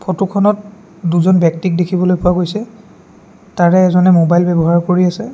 ফটোখনত দুজন ব্যক্তিক দেখিবলৈ পোৱা গৈছে তাৰে এজনে মোবাইল ব্যৱহাৰ কৰি আছে।